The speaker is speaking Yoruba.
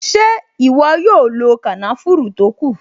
Ṣé ìwọ yóò lo kànáfùrù tó kù?